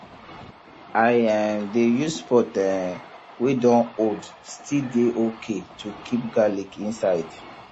i um dey use pot um wey don old still dey okay to keep garlic inside